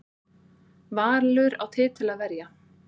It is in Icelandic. Valur á titil að verja